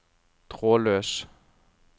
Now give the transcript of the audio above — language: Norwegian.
trådløs